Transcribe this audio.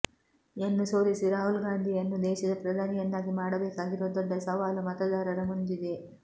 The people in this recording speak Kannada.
ಯನ್ನು ಸೋಲಿಸಿ ರಾಹುಲ್ಗಾಂಧಿಯನ್ನು ದೇಶದ ಪ್ರಧಾನಿಯನ್ನಾಗಿ ಮಾಡಬೇಕಾಗಿರುವ ದೊಡ್ಡ ಸವಾಲು ಮತದಾರರ ಮುಂದಿದೆ